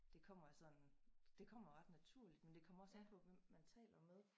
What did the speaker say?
Det kommer af sådan det kommer ret naturligt men det kommer også an på hvem man taler med